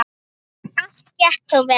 Allt gekk þó vel.